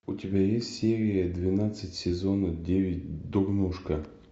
у тебя есть серия двенадцать сезона девять дурнушка